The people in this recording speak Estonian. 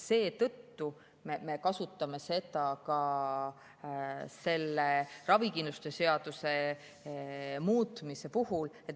Seetõttu me kasutame seda ka ravikindlustuse seaduse muutmise puhul.